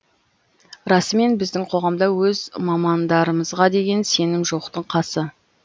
расымен біздің қоғамда өз мамандарымызға деген сенім жоқтың қасы